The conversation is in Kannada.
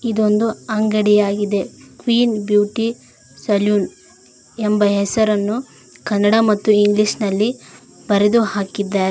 ಒಂದು ಅಂಗಡಿಯಾಗಿದೆ ಕ್ವೀನ್ ಬ್ಯೂಟಿ ಸಲೂನ್ ಎಂಬ ಹೆಸರನ್ನು ಕನ್ನಡ ಮತ್ತು ಇಂಗ್ಲಿಷ್ ನಲ್ಲಿ ಬರೆದು ಹಾಕಿದ್ದಾರೆ.